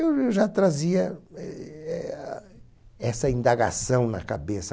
Eu já trazia eh essa indagação na cabeça.